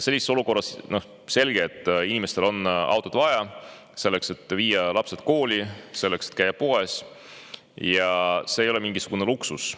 Sellises olukorras on selge, et inimestel on autot vaja, selleks et viia lapsed kooli, selleks et käia poes – see ei ole mingisugune luksus.